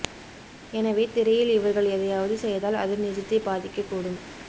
எனவே திரையில் இவர்கள் எதையாவது செய்தால் அது நிஜத்தைப் பாதிக்கக் கூடும்